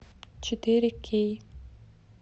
четыре кей